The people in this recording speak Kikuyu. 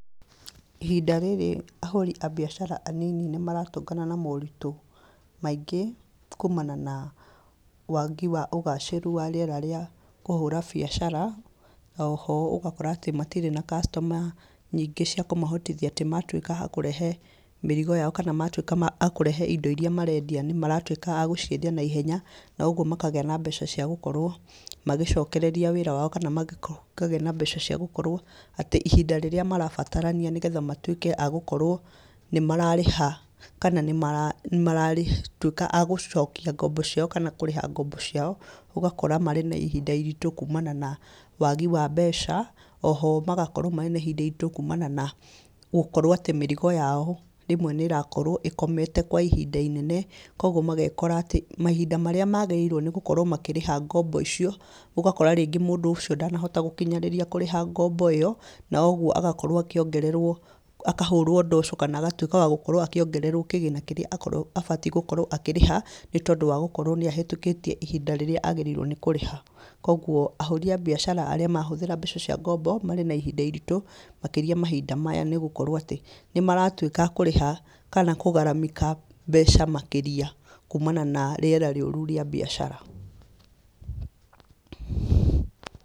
Ihinda rĩrĩ ahũri a mbiacara anini nĩmaratũngana na moritũ maingĩ, kumana na wagi wa ũgacĩru wa rĩera rĩa kũhũra biacara, oho ũgakora atĩ matirĩ na customer nyingĩ cia kũmahotithia atĩ matwíka a kũrehe mĩrigo yao kana matwĩka ma akũrehe indo iria marendia nímaratwĩka a gũciendia naihenya, noguo makagĩa na mbeca cia gũkorwo magĩcokereria wĩra wao kana makako makagĩa na mbeca cia gũkorwo atĩ ihinda rĩrĩa marabatarania nĩguo matwĩke a gũkorwo nĩmararĩha, kana nĩma nĩmaratwĩka a gũcokia ngombo ciao kana kũrĩha ngombo ciao, ũgakora marĩ na ihinda iritũ kũmana na wagi wa mbeca, oho, magakorwo marĩ na ihinda iritũ kumana na gũkorwo atĩ mĩrigo yao, rĩmwe nĩrakorwo ĩkomete kwa ihinda inene, koguo magekora atĩ mahinda marĩa magĩrĩirwo nĩgũkorwo makĩrĩha ngombo icio, ũgakora rĩngĩ mũndũ ũcio ndanahota gũkinyanĩria kũrĩha ngombo ĩyo, noguo agakorwo akĩongererwo akahũrwo ndosho kana agatwĩka wa gũkorwo akĩongererwo kĩgĩna kĩrĩa akorwo abatiĩ gũkorwo akĩrĩha nĩtondũ wa gũkorwo nĩahĩtũkĩtie ihinda rĩrĩa agĩrĩirwo nĩ kũrĩha, koguo, ahũri a mbiacara arĩa mahũthĩra mbeca cia ngombo, marí na ihinda iritũ makĩria mahinda maya nĩgũkorwo atĩ, nĩmaratwĩka kũrĩha kana kũgaramika mbeca makĩria kumana na rĩera rĩũru rĩa mbiacara.